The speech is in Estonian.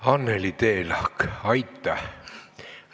Anneki Teelahk, aitäh!